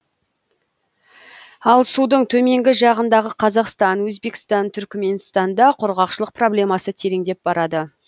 ал судың төменгі жағындағы қазақстан өзбекстан түркіменстанда құрғақшылық проблемасы тереңдеп барады